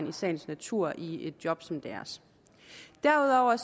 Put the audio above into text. i sagens natur i i et job som deres derudover